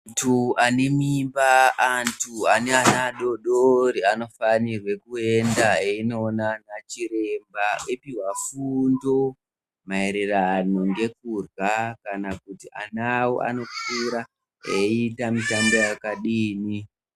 Antu ane mimba, antu ane ana adori dori anofanirwe kuenda eindoona anachiremba eipuhwa fundo maererano ngekuhla kana kuti ana awo anokura eiita mitambo yakadii.